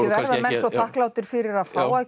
verða menn svo þakklátir fyrir að fá að